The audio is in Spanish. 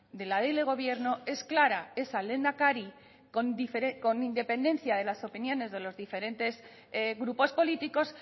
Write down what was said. de la ley de gobierno es clara es al lehendakari con independencia de las opiniones de los diferentes grupos políticos